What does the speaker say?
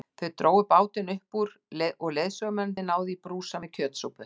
Þau drógu bátinn upp úr og leiðsögumennirnir náðu í brúsa með kjötsúpu.